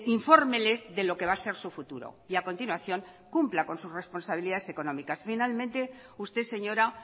infórmeles de lo que va a ser su futuro y a continuación cumpla con sus responsabilidades económicas finalmente usted señora